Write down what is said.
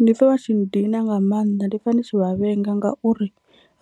Ndi pfha vha tshi nndina nga maanḓa ndi pfha ndi tshi vha vhenga ngauri